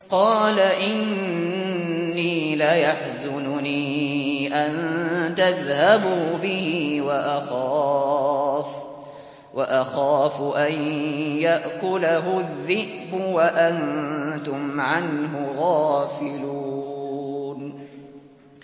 قَالَ إِنِّي لَيَحْزُنُنِي أَن تَذْهَبُوا بِهِ وَأَخَافُ أَن يَأْكُلَهُ الذِّئْبُ وَأَنتُمْ عَنْهُ غَافِلُونَ